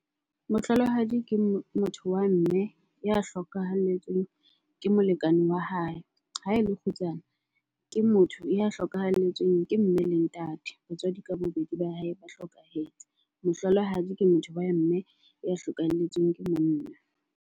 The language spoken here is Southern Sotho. Mohlolohadi ke motho wa mme ya hlokahalletsweng ke molekane wa hae. Ha ele kgutsana ke motho ya hlokahalletsweng ke mme le ntate, batswadi ka bobedi ba hae ba hlokahetse. Mohlolohadi ke motho wa mme ya hlokahalletsweng ke monna.